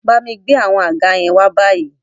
Bámi gbé àwọn àga yẹn wá báyìí